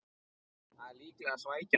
Það er líklega svækjan